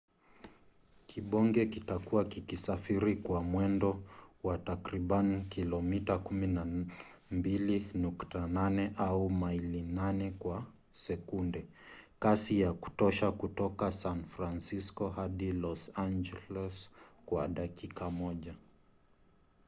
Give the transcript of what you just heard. kibonge kitakuwa kikisafiri kwa mwendo wa takriban kilomita 12.8 au maili 8 kwa sekunde kasi ya kutosha kutoka san francisco hadi los angeles kwa dakika moja